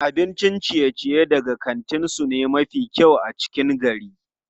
Abincin ciye-ciye daga kantin su ne mafi kyau a cikin gari.